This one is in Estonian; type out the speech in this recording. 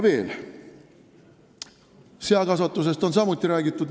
Seakasvatusest on samuti räägitud.